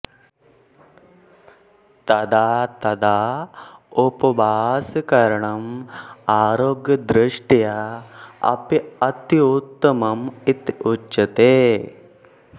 तदा तदा उपवासकरणम् आरोग्यदृष्ट्या अपि अत्युत्तमम् इति उच्यते